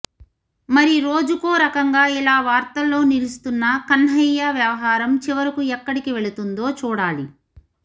మరి రోజుకో రకంగా ఇలా వార్తల్లో నిలుస్తున్న కన్హయ్య వ్యవహారం చివరకు ఎక్కడికి వెళుతుందో చూడాలి